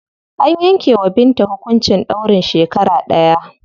An yanke wa Binta hukuncin ɗaurin shekara ɗaya.